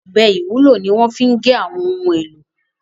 ọbẹ IwUlO ní wón fí gé àwọn ohùn èlò